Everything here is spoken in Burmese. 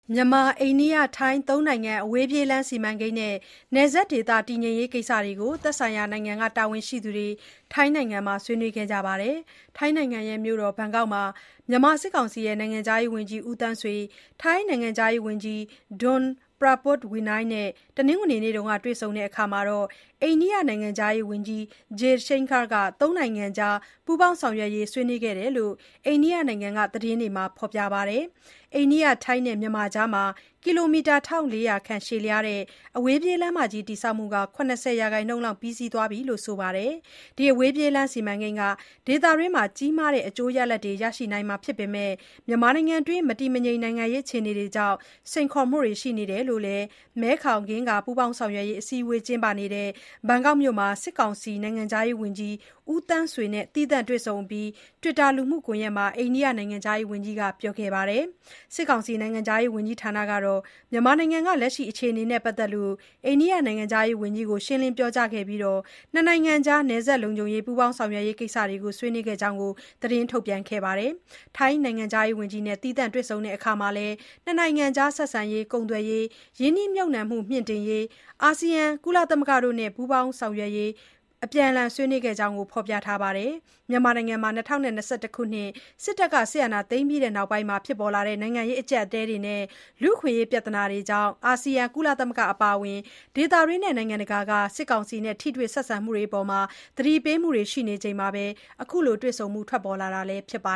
မြန်မာ၊ အိန္ဒိယ၊ ထိုင်း ၃ နိုင်ငံ အဝေးပြေးလမ်း စီမံကိန်းနဲ့ နယ်စပ်ဒေသ တည်ငြိမ်ရေး ကိစ္စတွေကို သက်ဆိုင်ရာနိုင်ငံက တာဝန်ရှိသူတွေ ထိုင်းနိုင်ငံမှာ ဆွေးနွေးခဲ့ကြပါတယ်။ ထိုင်းနိုင်ငံ ဘန်ကောက်မြို့တော်မှာ မြန်မာစစ်ကောင်စီ နိုင်ငံခြားရေးဝန်ကြီး ဦးသန်းဆွေ၊ ထိုင်းနိုင်ငံခြားရေးဝန်ကြီး Don Pramudwinai တို့နဲ့ တနင်္ဂနွေနေ့က တွေ့ဆုံရာမှာ အိန္ဒိယနိုင်ငံခြားရေးဝန်ကြီး Subhramanyam Jaishankar က ၃ နိုင်ငံကြား ပူးပေါင်းဆောင်ရွက်ရေး ဆွေးနွေးခဲ့ကြောင်း အိန္ဒိယနိုင်ငံက သတင်းတွေမှာ ဖော်ပြခဲ့ကြတာပါ။ အိန္ဒိယ၊ ထိုင်းနဲ့ မြန်မာနိုင်ငံကြား ကီလိုမီတာ ၁၄၀၀ ခန့် ရှည်လျားတဲ့ အဝေးပြေးလမ်းမကြီး တည်ဆောက်မှုဟာ ၇၀ ရာခိုင်နှုန်းလောက် ပြီးစီးနေပြီလို့လည်း ဆိုပါတယ်။ အဝေးပြေးလမ်း စီမံကိန်းဟာ ဒေသတွင်းအတွက် ကြီးမားတဲ့ အကျိုးရလဒ်တွေ ရရှိနိုင်ပေမဲ့ မြန်မာနိုင်ငံက မတည်မငြိမ် အခြေအနေတွေကြောင့် စိန်ခေါ်မှုတွေ ရှိနေတယ်လို့လည်း မဲခေါင်-ဂင်္ဂါ ပူးပေါင်းဆောင်ရွက်ရေး အစည်းအဝေးကျင်းပနေတဲ့ ဘန်ကောက်မြို့မှာ စစ်ကောင်စီနိုင်ငံခြားရေးဝန်ကြီး ဦးသန်းဆွေနဲ့ သီးသန့်တွေ့ဆုံအပြီး Twitter လူမှုကွန်ရက်မှာ အိန္ဒိယနိုင်ငံခြားရေးဝန်ကြီးက ပြောခဲ့ပါတယ်။ စစ်ကောင်စီ နိုင်ငံခြားရေး ဝန်ကြီးဌာနကတော့ မြန်မာနိုင်ငံက အခြေအနေနဲ့ ပတ်သက်လို့ အိန္ဒိယနိုင်ငံခြားရေးဝန်ကြီးကို ရှင်းလင်းပြောကြားခဲ့ပြီး၊ ၂ နိုင်ငံ နယ်စပ်လုံခြုံရေး၊ ပူးပေါင်းဆောင်ရွက်ရေး ကိစ္စတွေကို ဆွေးနွေးခဲ့ကြောင်း သတင်းထုတ်ပြန်ခဲ့တာပါ။ ထိုင်းနိုင်ငံခြားရေး ဝန်ကြီးနဲ့ သီးသန့်တွေ့ဆုံရာမှာလည်း ၂ နိုင်ငံဆက်ဆံရေး၊ ကုန်သွယ်ရေး၊ ရင်းနှီးမြှုပ်နှံမှုမြှင့်တင်ရေး၊ အာဆီယံ၊ ကုလသမဂ္ဂတို့နဲ့ ပိုမိုပူးပေါင်း ဆောင်ရွက်ရေး အပြန်အလှန်ဆွေးနွေးခဲ့ကြောင်း ဖော်ပြထားပါတယ်။ မြန်မာနိုင်ငံမှာ ၂၀၂၁ ခုနှစ် စစ်တပ်က အာဏာသိမ်းပြီးနောက်ပိုင်း နိုင်ငံရေးအကြပ်အတည်းတွေနဲ့ လူ့အခွင့်အရေး ပြဿနာတွေကြောင့် အာဆီယံ၊ ကုလသမဂ္ဂ အပါအဝင် ဒေသတွင်းနဲ့ နိုင်ငံတကာက စစ်ကောင်စီနဲ့ ဆက်ဆံမှုတွေအပေါ် သတိပေးနေချိန်မှာပဲ အခုလိုတွေ့ဆုံမှု ထွက်ပေါ်လာတာလည်း ဖြစ်ပါ